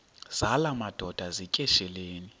zala madoda yityesheleni